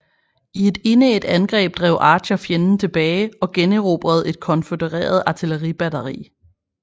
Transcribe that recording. I et indædt angreb drev Archer fjenden tilbage og generobrede et konfødereret artilleribatteri